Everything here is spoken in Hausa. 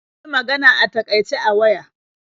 Mun yi magana a takaice a waya.